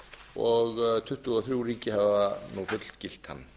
og tuttugu og þrjú ríki hafa nú fullgilt hann